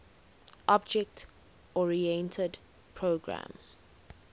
object oriented programming